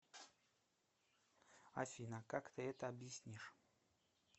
афина как ты это объяснишь